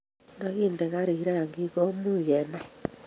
nda kinde garit rangik ko much kenai